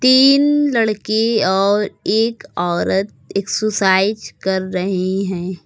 तीन लड़के और एक औरत एक्सरसाइज कर रही हैं।